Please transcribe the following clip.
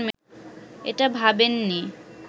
এটা ভাবেননি